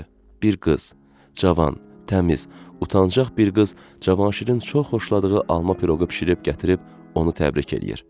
Bir qız, Cavan, təmiz, utancaq bir qız Cavanşirin çox xoşladığı alma piroqu bişirib gətirib onu təbrik eləyir.